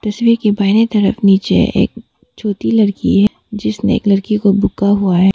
तस्वीर के बाएं तरफ नीचे एक छोटी लड़की हैं जिसने एक लड़की को बुका हुआ है।